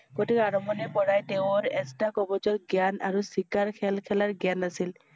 গতিকে আৰম্ভণিতে পৰাই তেওঁৰ এটা কবছৰ জ্ঞান আৰু চিকাৰৰ খেল খেলাৰ জ্ঞান আছিল।